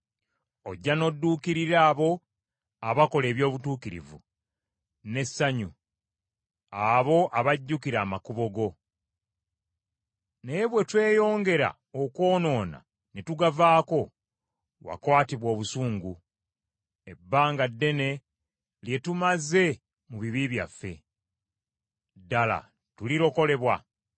Ojja n’odduukirira abo abakola eby’obutuukirivu n’essanyu, abo abajjukira amakubo go. Naye bwe tweyongera okwonoona ne tugavaako, wakwatibwa obusungu. Ebbanga ddene lye tumaze mu bibi byaffe, ddala tulirokolebwa?